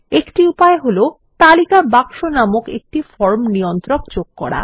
একটি উপায় হল তালিকা বাক্স নামক একটি ফর্ম নিয়ন্ত্রক যোগ করা